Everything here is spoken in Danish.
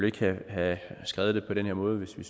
ikke ville have skrevet det på den her måde hvis vi